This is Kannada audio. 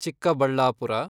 ಚಿಕ್ಕಬಳ್ಳಾಪುರ